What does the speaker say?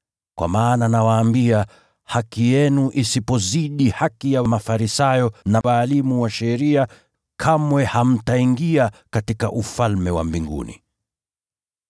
Kwa maana nawaambia, haki yenu isipozidi haki ya Mafarisayo na walimu wa sheria, kamwe hamtaingia katika Ufalme wa Mbinguni.